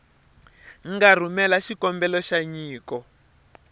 nga rhumela xikombelo xa nyiko